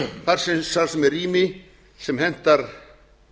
þar sem er rými sem hentar